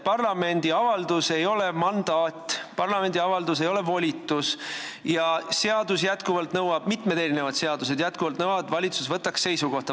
Parlamendi avaldus ei ole mandaat, parlamendi avaldus ei ole volitus ja mitmed seadused nõuavad, et valitsus võtaks seisukoha.